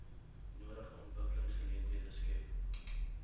nodige ontwikkelingsgeleenthede skep